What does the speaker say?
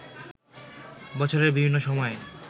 বছরের বিভিন্ন সময়ে